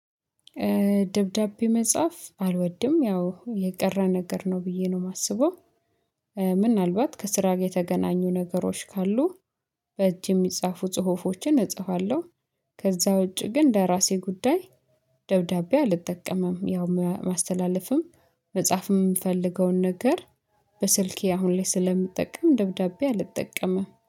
ደብዳቤ መጻፍ አልወድም ያው የቀረ ነገር ነው ብዬ ነው የማስበው ምናልባት ከስራ ጋር የተገናኙ ነገሮች ካሉ በእጅ የሚጻፉ ጽሁፎችን እጽፋለሁ፤ ከዛ ውጪ ግን እንደ ራሴ ጉዳይ ደብዳቤ አልጠቀምም፤ ያው ማስተላለፍም መጻፍም የምፈልገውን ነገር በስልኬ አሁን ላይ ስለምጠቀም ደብዳቤ አልጠቀምም።